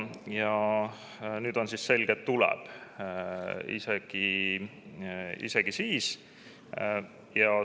Ja nüüd on siis selge, et tuleb, isegi siis.